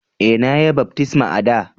E,na ya baftisma a'da.